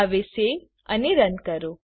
હવે સેવ અને રન કરો